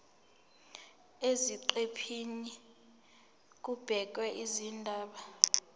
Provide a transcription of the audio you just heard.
eziqephini kubhekwe izindaba